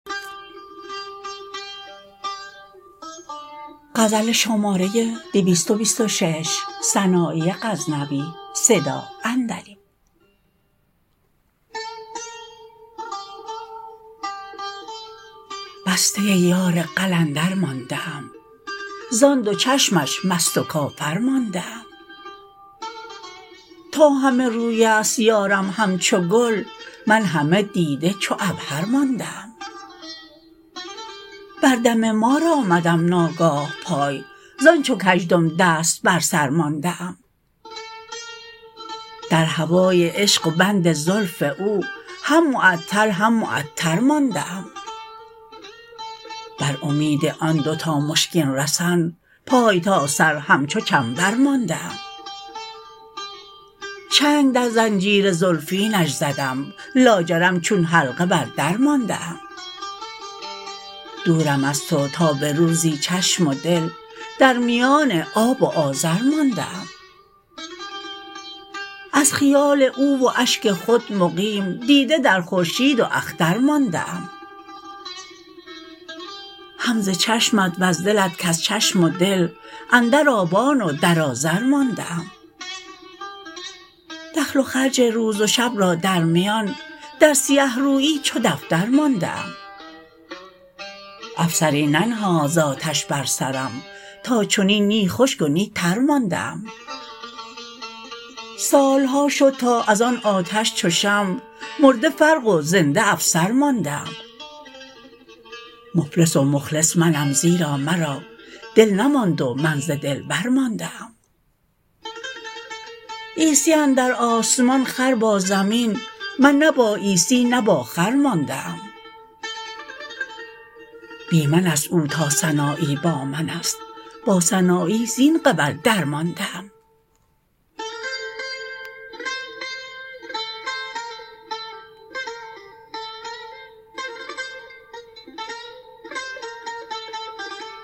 بسته یار قلندر مانده ام زان دو چشمش مست و کافر مانده ام تا همه رویست یارم همچو گل من همه دیده چو عبهر مانده ام بر دم مار آمدم ناگاه پای زان چو کژدم دست بر سر مانده ام در هوای عشق و بند زلف او هم معطل هم معطر مانده ام بر امید آن دوتا مشکین رسن پای تا سر همچو چنبر مانده ام چنگ در زنجیر زلفینش زدم لاجرم چون حلقه بر در مانده ام دورم از تو تا به روزی چشم و دل در میان آب و آذر مانده ام از خیال او و اشک خود مقیم دیده در خورشید و اختر مانده ام هم ز چشمت وز دلت کز چشم و دل اندر آبان و در آذر مانده ام دخل و خرج روز شب را در میان در سیه رویی چو دفتر مانده ام افسری ننهاد ز آتش بر سرم تا چنین نی خشک و نی تر مانده ام سالها شد تا از آن آتش چو شمع مرده فرق و زنده افسر مانده ام مفلس و مخلص منم زیرا مرا دل نماند و من ز دلبر مانده ام عیسی اندر آسمان خر با زمین من نه با عیسی نه با خر مانده ام بی منست او تا سنایی با منست با سنایی زین قبل درمانده ام